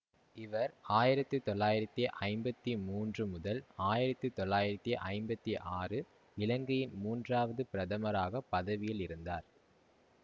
இவர் ஆயிரத்தி தொள்ளாயிரத்தி ஐம்பத்தி மூன்று முதல் ஆயிரத்தி தொள்ளாயிரத்தி ஐம்பத்தி ஆறு இலங்கையின் மூன்றாவது பிரதமராக பதவியில் இருந்தார்